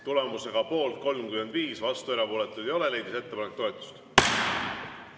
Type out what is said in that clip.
Tulemusega poolt 35, vastuolijaid ja erapooletuid ei ole, leidis ettepanek toetust.